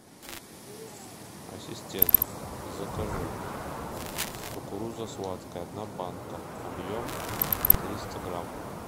ассистент закажи кукуруза сладкая одна банка объем триста грамм